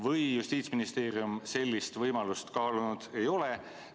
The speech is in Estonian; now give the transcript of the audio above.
Või ei ole Justiitsministeerium sellist võimalust kaalunud?